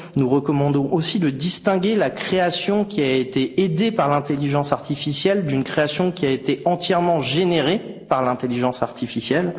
Nous recommandons aussi de distinguer la création qui a été aidée par l'intelligence artificielle d'une création qui a été entièrement générée par l'intelligence artificielle.